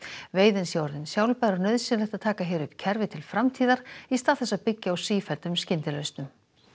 veiðin sé orðin sjálfbær og nauðsynlegt að taka hér upp kerfi til framtíðar í stað þess að byggja á sífelldum skyndilausnum